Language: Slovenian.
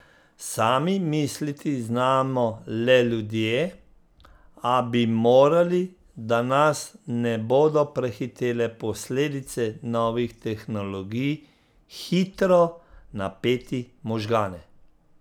Sami misliti znamo le ljudje, a bi morali, da nas ne bodo prehitele posledice novih tehnologij, hitro napeti možgane.